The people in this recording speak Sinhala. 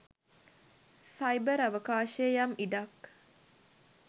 සයිබර් අවකාශයේ යම් ඉඩක්